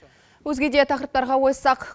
өзге де тақырыптарға ойыссақ